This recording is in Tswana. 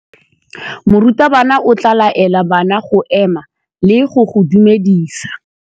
Morutabana o tla laela bana go ema le go go dumedisa.